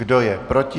Kdo je proti?